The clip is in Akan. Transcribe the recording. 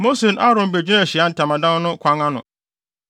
Mose ne Aaron begyinaa Ahyiae Ntamadan no kwan ano,